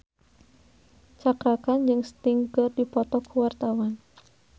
Cakra Khan jeung Sting keur dipoto ku wartawan